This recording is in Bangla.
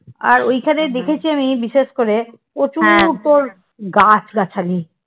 আর ওইখানে দেখেছি আমি বিশেষ করে প্রচুর তোর গাছগাছালি।